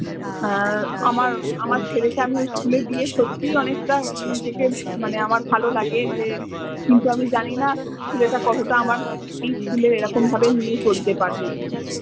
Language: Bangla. আহ আমার আমার ছেলেকে আমি ওই school এ দিয়ে সত্যি অনেকটা নিজেকে মানে আমার ভালো লাগে যে, কিন্তু আমি জানি না ছেলেটা আমার কতটা আমার এই school এ এরকম ভাবে নিয়ে চলতে পারবে।